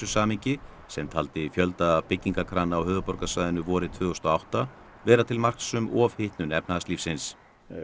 samhengi sem taldi fjölda byggingarkrana á höfuðborgarsvæðinu vorið tvö þúsund og átta vera til marks um ofhitnun efnahagslífsins